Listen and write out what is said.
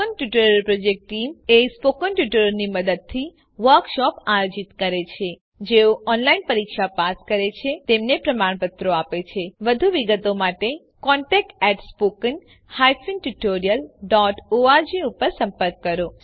spoken tutorial project team spoken ટ્યુટોરીયલોનાં મદદથી વર્કશોપોનું આયોજન કરે છે જેઓ ઓનલાઈન પરીક્ષા પાસ કરે છે તેમને પ્રમાણપત્રો આપે છે વધુ વિગત માટે કૃપા કરી contactspoken tutorialorg પર સંપર્ક કરો